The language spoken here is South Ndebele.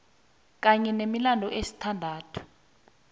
kanye nemilandu esithandathu